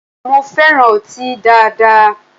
Mo fẹran ọti daada